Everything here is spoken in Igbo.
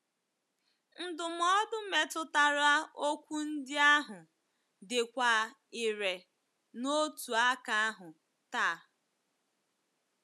Ndụmọdụ metụtara okwu ndị ahụ dịkwa irè n’otu aka ahụ taa